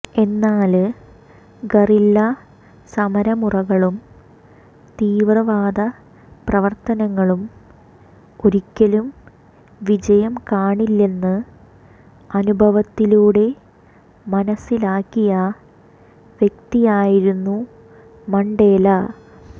എന്നാല് ഗറില്ല സമരമുറകളും തീവ്രവാദപ്രവര്ത്തനങ്ങളും ഒരിക്കലും വിജയം കാണില്ലെന്ന് അനുഭവത്തിലൂടെ മനസ്സിലാക്കിയ വ്യക്തിയായിരുന്നു മണ്ടേല